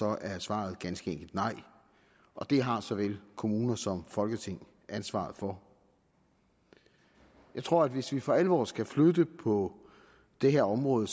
er svaret ganske enkelt nej og det har såvel kommuner som folketing ansvaret for jeg tror at hvis vi for alvor skal flytte noget på det her område